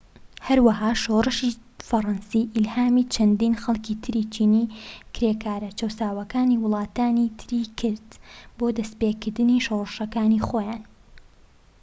هەروەها شۆڕشی فەرەنسی ئیلهامی چەندین خەڵکی تری چینی کرێکارە چەوساوەکانی وڵاتانی تری کرد بۆ دەستیپێکردنی شۆڕشەکانی خۆیان